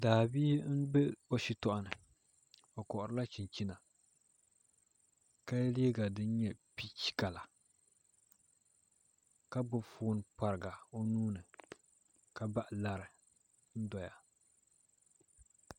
Daabia n bɛ o shitoɣu ni o koharila chinchina ka yɛ liiga din nyɛ piich kala ka gbubi foon pariga o nuuni ka bahi lari n doya